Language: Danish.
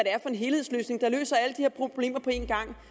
er for en helhedsløsning der løser alle de her problemer på en gang